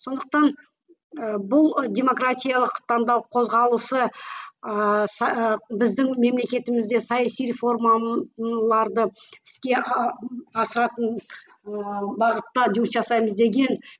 сондықтан ы бұл демократиялық таңдау қозғалысы ыыы біздің мемлекетімізде саяси іске асатын ыыы бағытта жұмыс жасаймыз деген